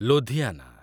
Ludhiana